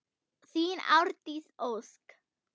Þín, Ásdís Ósk.